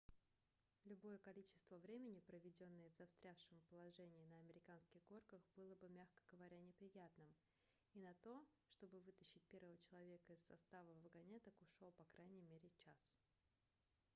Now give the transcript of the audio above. любое количество времени проведенное в застрявшем положении на американских горках было бы мягко говоря неприятным и на то чтобы вытащить первого человека из состава вагонеток ушел по крайней мере час